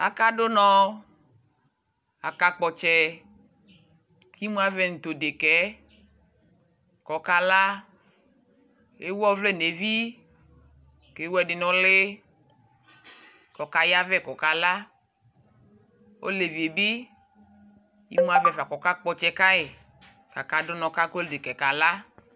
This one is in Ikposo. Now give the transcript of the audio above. Akadu nɔ akakpɔ ɔtsɛ imu avɛ nu tu deka yɛ ku ɔkala ewu ɔvlɛ nu evi ku ewu ɛdi nu uli ku ɔkaya vɛ ku ɔkala olevi yɛ bi emu avɛ ka ku ɔkakpɔ ɔtsɛ ka yi ku akadu nu ku agɔliki kala